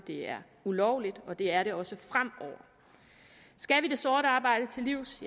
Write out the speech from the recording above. det er ulovligt og det er det også fremover skal vi det sorte arbejde til livs